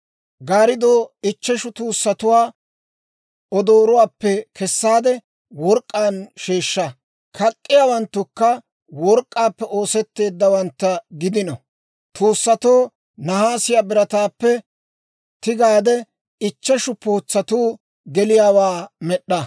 Gaarddoo ichcheshu tuussatuwaa odoorotuwaappe kessaade, work'k'aan sheeshsha; kak'k'iyaawanttukka work'k'aappe oosetteeddawantta gidino; tuussatoo nahaasiyaa birataappe tigaade ichcheshu pootsatuu geliyaawaa med'd'a.